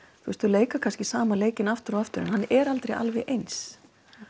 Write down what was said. þau leika kannski sama leikinn aftur og aftur en hann er aldrei alveg eins